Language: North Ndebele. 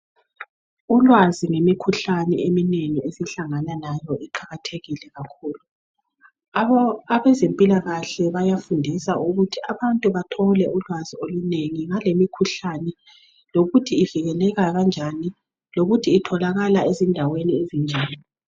Ulwazi ngemikhuhlane eminengi esihlangane layo iqakathekile kakhulu abezempilakahle bayafundisa ukuthi abantu bathole ulwazi olunengi ngale mikhuhlane lokuthi ivikelela kanjani lokuthi itholakala ezindaweni ezinjani